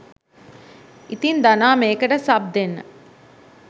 ඉතින් ධනා මේකට සබ් දෙන්න